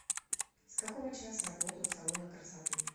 с какого часа работают салоны красоты